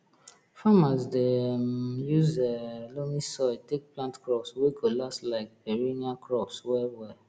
farmers dey um use um loamy soil take plant crops wey go last like perennial crops well well